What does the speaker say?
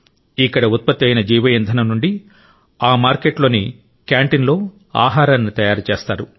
అక్కడ ఉత్పత్తి అయిన జీవ ఇంధనం నుండి ఆ మార్కెట్లోని క్యాంటీన్లో ఆహారాన్ని తయారు చేస్తారు